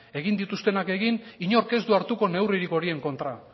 egin dituztenak egin inork ez du hartuko neurririk horien kontra